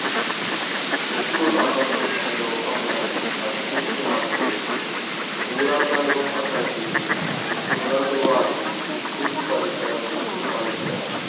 ఉక్కు సంబంధించిన లోహంలను అతికించునప్పుడు పూరకలోహకడ్దికి ఋణధ్రువాన్ని విద్యుత్తు పరికరం నుండి కలుపుతారు